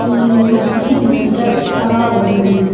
कि मशीन नज़र आ रही--